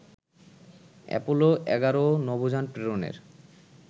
Apollo ১১ নভোযান প্রেরণের